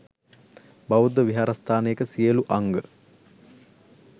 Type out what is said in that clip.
බෞද්ධ විහාරස්ථානයක සියලු අංග